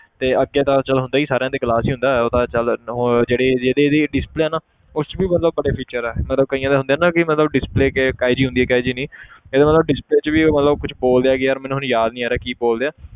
ਤੇ ਅੱਗੇ ਦਾ ਚੱਲ ਹੁੰਦਾ ਹੀ ਸਾਰਿਆਂ ਦੇ glass ਹੀ ਹੁੰਦਾ ਉਹ ਤਾਂ ਚੱਲ ਹੋਰ ਜਿਹੜੀ ਜਿਹੜੀ ਇਹਦੀ display ਹੈ ਨਾ ਉਸ 'ਚ ਵੀ ਮਤਲਬ ਬੜੇ feature ਹੈ ਮਤਲਬ ਕਈਆਂ ਦੇ ਹੁੰਦੇ ਨਾ ਮਤਲਬ display ਕਿ~ ਕਿਹੋ ਜਿਹੀ ਹੁੰਦੀ ਆ ਕਿਹੋ ਜਿਹੀ ਨਹੀਂ ਇਹਦਾ ਨਾ display 'ਚ ਵੀ ਮਤਲਬ ਕੁਛ ਬੋਲਦੇ ਆ ਕਿ ਯਾਰ ਮੈਨੂੰ ਹੁਣ ਯਾਦ ਨੀ ਆ ਰਿਹਾ ਕੀ ਬੋਲਦੇ ਆ